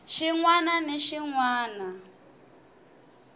xin wana ni xin wana